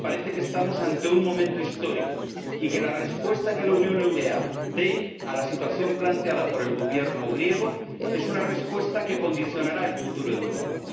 Me parece que estamos ante un momento histórico y que la respuesta que la Unión Europea dé a la situación planteada por el Gobierno griego es una respuesta que condicionará el futuro de Europa.